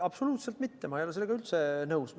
Absoluutselt mitte, ma ei ole sellega üldse nõus.